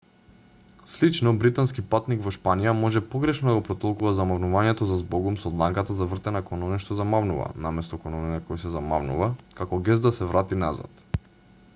слично британски патник во шпанија може погрешно да го протолкува замавнувањето за збогум со дланката завртена кон оној што замавнува наместо кон оној на кој се замавнува како гест да се врати назад